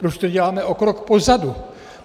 Proč to děláme o krok pozadu?